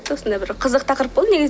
осындай бір қызық тақырып болды негізінен